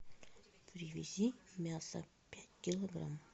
привези мясо пять килограмм